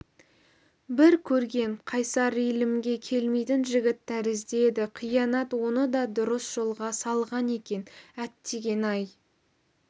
бір көргем қайсар иілімге келмейтін жігіт тәрізді еді қиянат оны да дұрыс жолға салған екен әттеген-ай